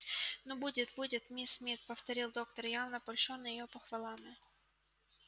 ну будет будет миссис мид повторил доктор явно польщённый её похвалами